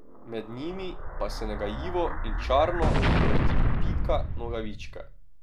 Med njimi pa se nagajivo in čarno vrti Pika Nogavička.